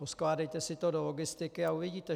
Poskládejte si to do logistiky a uvidíte.